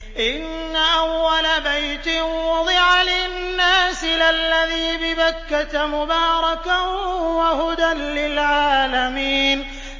إِنَّ أَوَّلَ بَيْتٍ وُضِعَ لِلنَّاسِ لَلَّذِي بِبَكَّةَ مُبَارَكًا وَهُدًى لِّلْعَالَمِينَ